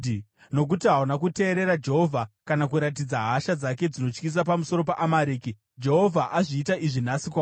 Nokuti hauna kuteerera Jehovha, kana kuratidza hasha dzake dzinotyisa pamusoro peAmareki, Jehovha azviita izvi nhasi kwauri.